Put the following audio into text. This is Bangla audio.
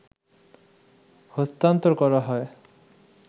হস্তান্তর করা হয়